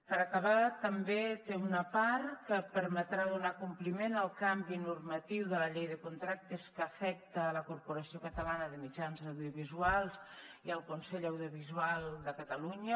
per acabar també té una part que permetrà donar compliment al canvi normatiu de la llei de contractes que afecta la corporació catalana de mitjans audiovisuals i el consell audiovisual de catalunya